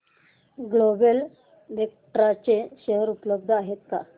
global Vectra चे share उपलब्ध आहेत का